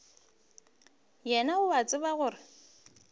wena o a tseba gore